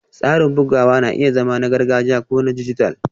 Tsarin bugawa na iya zama na gargajiya ko na dijital